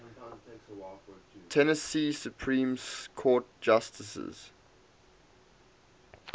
tennessee supreme court justices